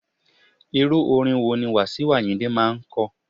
Irú orin wo ni Wasiu Ayinde máa ń ko?